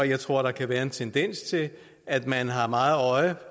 jeg tror der kan være en tendens til at man har meget øje